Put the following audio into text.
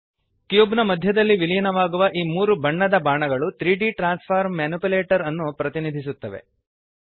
cube ನ ಮಧ್ಯದಲ್ಲಿ ವಿಲೀನವಾಗುವ ಈ ಮೂರು ಬಣ್ಣದ ಬಾಣಗಳು 3ದ್ ಟ್ರಾನ್ಸ್ಫಾರ್ಮ್ ಮ್ಯಾನಿಪ್ಯುಲೇಟರ್ ಅನ್ನು ಪ್ರತಿನಿಧಿಸುತ್ತವೆ